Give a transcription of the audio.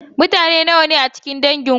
Mutane nawa ne a cikin dangin ku?